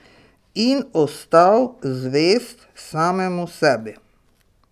In ostal zvest samemu sebi.